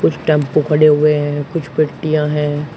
कुछ टेम्पु खड़े हुए हैं कुछ हैं।